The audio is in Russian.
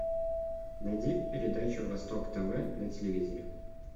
найди передачу восток тв на телевизоре